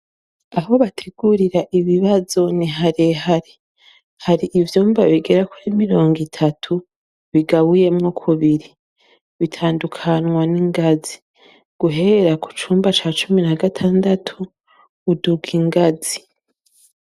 Aho bategurira ibibazo ni harehare, hari ivyumba bigera kuri mirongo itatu bigabuyemwo kubiri bitandukanwa n'ingazi guhera ku cumba ca cumi na gatandatu uduga ingazi.